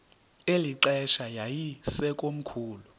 eli xesha yayisekomkhulu